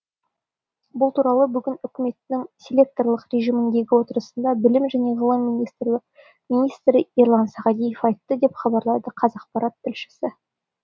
бұл туралы бүгін үкіметтің селекторлық режимдегі отырысында білім және ғылым министрі ерлан сағадиев айтты деп хабарлайды қазақпарат тілшісі